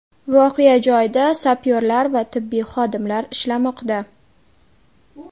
Voqea joyida sapyorlar va tibbiy xodimlar ishlamoqda.